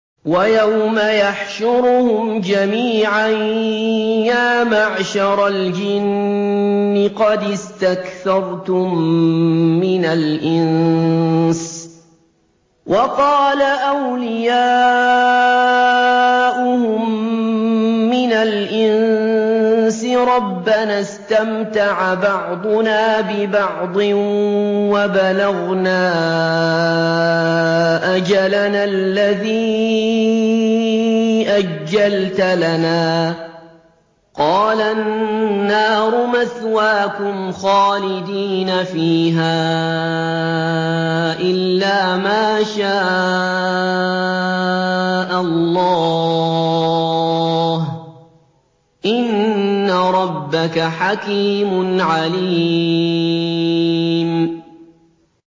وَيَوْمَ يَحْشُرُهُمْ جَمِيعًا يَا مَعْشَرَ الْجِنِّ قَدِ اسْتَكْثَرْتُم مِّنَ الْإِنسِ ۖ وَقَالَ أَوْلِيَاؤُهُم مِّنَ الْإِنسِ رَبَّنَا اسْتَمْتَعَ بَعْضُنَا بِبَعْضٍ وَبَلَغْنَا أَجَلَنَا الَّذِي أَجَّلْتَ لَنَا ۚ قَالَ النَّارُ مَثْوَاكُمْ خَالِدِينَ فِيهَا إِلَّا مَا شَاءَ اللَّهُ ۗ إِنَّ رَبَّكَ حَكِيمٌ عَلِيمٌ